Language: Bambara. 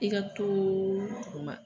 I ka too o ma